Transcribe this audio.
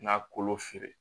N'a kolo feere